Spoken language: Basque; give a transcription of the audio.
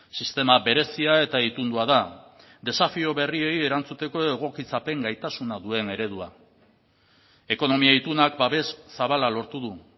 sistema berezia eta itundua da desafio berriei erantzuteko egokitzapen gaitasuna duen eredua ekonomia itunak babes zabala lortu du